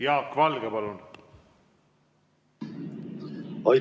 Jaak Valge, palun!